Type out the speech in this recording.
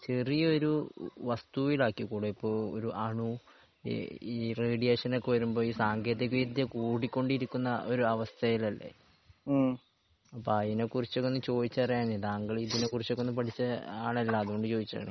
ചെറിയ ഒരു വസ്തുവിലാക്കിക്കൂടെ ഇപ്പൊ ഒരു അണു ഈ ഈ റേഡിയേഷൻ ഒക്കെ വരുമ്പോ ഈ സാങ്കേന്തിക വിദ്യ കൂടി കൊണ്ടിരിക്കുന്ന ഒരവസ്ഥയിലല്ലേ? അപ്പൊ അതിനെ കുറിച്ചൊക്കെ ഒന്ന് ചോദിച്ചറിയാനെയ് താങ്കൾ ഇതിനെ കുറിച്ചൊക്കെ ഒന്ന് പഠിച്ച ആളല്ലേ? അതോണ്ട് ചൊയ്ച്ചതാണ്.